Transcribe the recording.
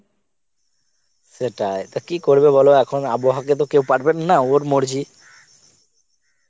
সেটাই টা কি করবে বল এখন আবহাওয়া কে তো কেউ পারবে না ওর মর্জি